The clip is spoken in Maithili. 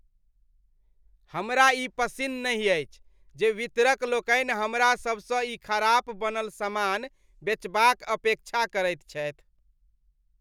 हमरा ई पसिन्न नहि अछि जे वितरकलोकनि हमरासभसँ ई ख़राब बनल समान बेचबाक अपेक्षा करैत छथि।